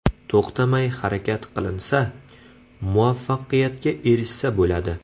To‘xtamay harakat qilinsa, muvaffaqiyatga erishsa bo‘ladi.